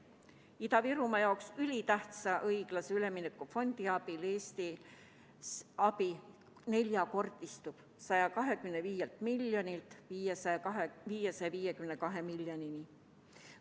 Tänu Ida-Virumaa jaoks ülitähtsale õiglase ülemineku fondile Eesti saadav abi neljakordistub: 125 miljonist 552 miljonini.